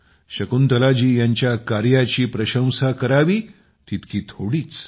शकुंतलाजी यांच्या कार्याची प्रशंसा करावी तितकी थोडीच